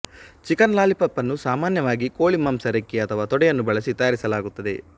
chicken ಲಾಲಿಪಾಪ್ಅನ್ನು ಸಾಮಾನ್ಯವಾಗಿ ಕೋಳಿಮಾಂಸ ರೆಕ್ಕೆ ಅಥವಾ ತೊಡೆಯನ್ನು ಬಳಸಿ ತಯಾರಿಸಲಾಗುತ್ತದೆ